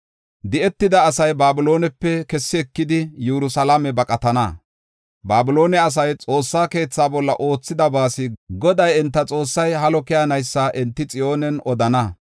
“Di7etida asay Babiloonepe kessi ekidi, Yerusalaame baqatana. Babiloone asay Xoossa keethaa bolla oothidabaas Goday, enta Xoossay halo keyanaysa enti Xiyoonen odana.